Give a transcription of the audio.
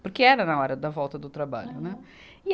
Porque era na hora da volta do trabalho, né? Aham. E